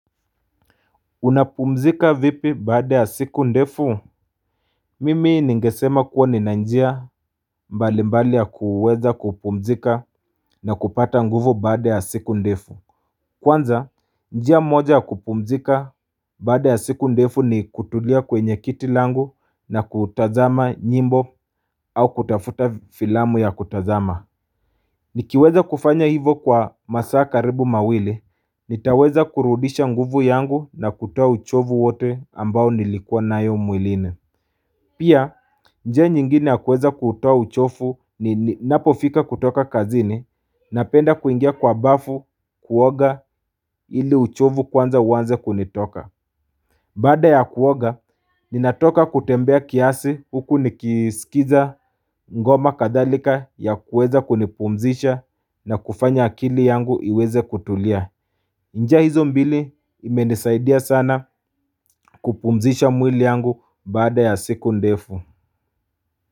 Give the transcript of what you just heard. Unapumzika vipi baada ya siku ndefu? Mimi ningesema kuwa nina njia mbali mbali ya kuweza kupumzika na kupata nguvu baada ya siku ndefu Kwanza, njia moja ya kupumzika baada ya siku ndefu ni kutulia kwenye kiti langu na kutazama nyimbo au kutafuta filamu ya kutazama Nikiweza kufanya hivo kwa masaa karibu mawili, nitaweza kurudisha nguvu yangu na kutoa uchovu wote ambao nilikua nayo mwilini Pia, njia nyingine ya kuweza kutoa uchovu ninapofika kutoka kazini napenda kuingia kwa bafu kuoga ili uchovu kwanza uanze kunitoka Baada ya kuoga, ninatoka kutembea kiasi huku nikiskiza ngoma kadhalika ya kuweza kunipumzisha na kufanya akili yangu iweze kutulia. Njia hizo mbili imenisaidia sana kupumzisha mwili yangu bada ya siku ndefu.